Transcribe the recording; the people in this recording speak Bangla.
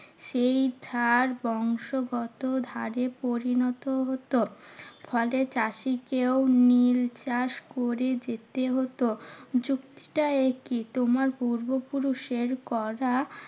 সেই ধার বংশগত ধারে পরিণত হতো। ফলে চাষীকেও নীল চাষ করে যেতে হতো। যুক্তিটা একই তোমার পূর্বপুরুষের করা